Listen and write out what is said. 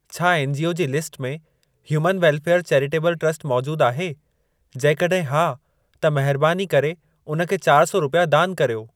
छा एनजीओ जी लिस्ट में ह्यूमन वेलफेयर चैरिटेबल ट्रस्ट मौजूद आहे, जेकॾहिं हा त महरबानी करे उन खे चार सौ रुपिया दान कर्यो।